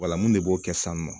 Wala mun de b'o kɛ sisan nɔ